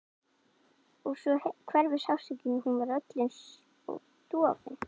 Og svo hverfur sársaukinn og hún verður öll einsog dofin.